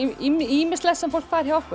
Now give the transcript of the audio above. ýmislegt sem fólk fær hjá okkur